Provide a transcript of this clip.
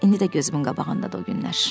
İndi də gözümün qabağındadır o günlər.